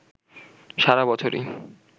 সারা বছরই